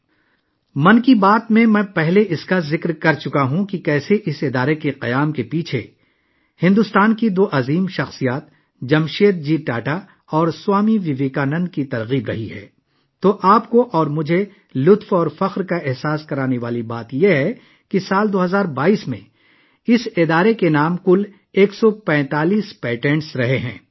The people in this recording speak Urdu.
'من کی بات' میں، میں نے پہلے کہا تھا کہ کس طرح بھارت کی دو عظیم شخصیاتوں جمشید جی ٹاٹا اور سوامی وویکانند اس ادارے کے قیام کے پیچھے محرک رہے ہیں اور ہمارے لیے خوشی اور فخر کی بات یہ ہے کہ سال 2022 میں اس ادارے کے نام کل 145 پیٹنٹ ہو چکے ہیں